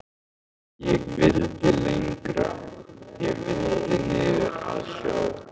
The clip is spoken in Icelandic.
Ég vildi lengra. ég vildi niður að sjó.